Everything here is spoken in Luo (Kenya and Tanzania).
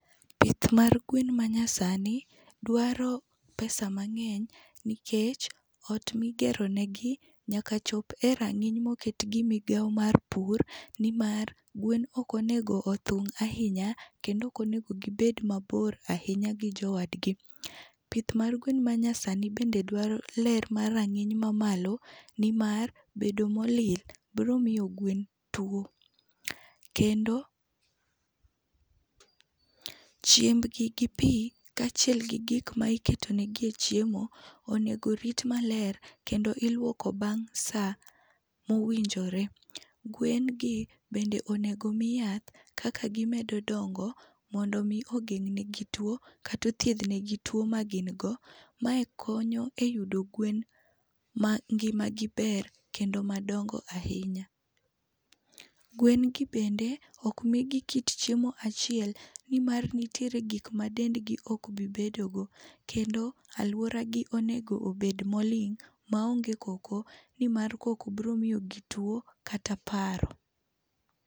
Pith mar gwen ma nyasani dwaro pesa mang'eny nikech ot migeronigi nyaka chop e rang'iny moket gi migawo mar pur nimar gwen ok onego othung' ahinya kendo ok onego gibed mabor ahinya gi jowadgi. Pith margwen manyasani bende dwaro ler mar rang'iny mamalo nimar bedo molil biro miyo gwen tuo. Kendo pause chiembgi gi pii, kaachiel gi gik ma iketonigie chiemo onego orit maler kendo iluoko bang' saa mowinjore. Gwen gi bende onego omii yath kaka gimedo dongo mondo omi ogeng' negi tuo kata othiedhnigi tuo magin go. Mae konyo eyudo gwen mangimagi ber kendo madongo ahinya. Gwen gi bende, ok migi kit chiemo achiel nimar nitiere gik ma dendgi ok bi bedogo, kendo alworagi onego obed moling' maonge koko nimar koko biro miyogi tuo kata paro.